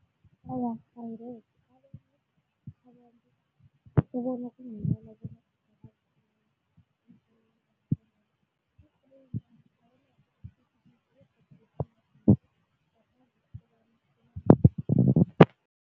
Awa, angeze